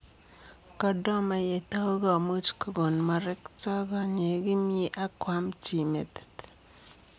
Kordoma yetau komuuch kogon makertoo konyeek kimie ak koam chii metit.